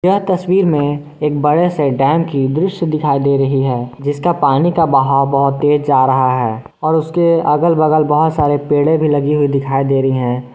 यह तस्वीर में एक बड़े से डैम की दृश्य दिखाई दे रही है जिसका पानी का बहाव बहुत तेज जा रहा है और उसके अगल बगल बहोत सारे पेड़े भी लगी हुई दिखाई दे रही हैं।